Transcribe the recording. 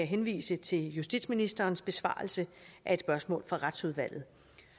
henvise til justitsministerens besvarelse af et spørgsmål fra retsudvalget